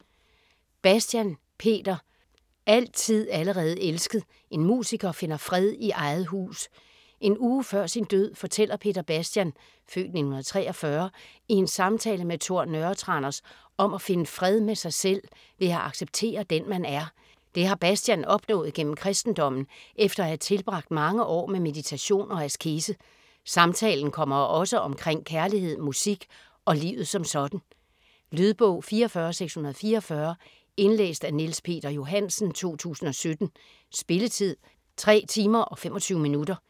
Bastian, Peter: Altid allerede elsket: en musiker finder fred i eget hus En uge før sin død fortæller Peter Bastian (f. 1943) i en samtale med Tor Nørretranders om at finde fred med sig selv ved at acceptere den man er. Det har Bastian opnået gennem kristendommen efter at have tilbragt mange år med meditation og askese. Samtalen kommer også omkring kærlighed, musik og livet som sådan. Lydbog 44644 Indlæst af Niels Peter Johansen, 2017. Spilletid: 3 timer, 25 minutter.